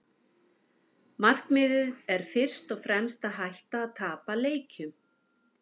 Markmiðið er fyrst og fremst að hætta að tapa leikjum.